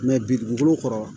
bi dugukolo kɔrɔ